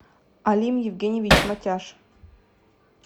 алим евгеньевич матяш